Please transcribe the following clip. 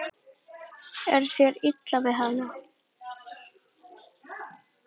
Er þér illa við hana?